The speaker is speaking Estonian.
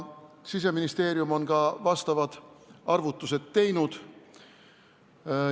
Siseministeerium on vajalikud arvutused teinud.